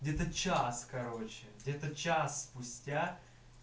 где-то час короче где-то час спустя